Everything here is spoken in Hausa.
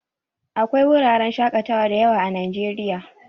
Akwai wuraren shakatawa dayawa a najeriya